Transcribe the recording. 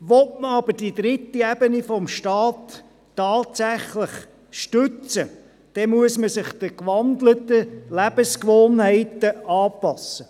Will man aber die dritte Ebene des Staates tatsächlich stützen, muss man sich den gewandelten Lebensgewohnheiten anpassen.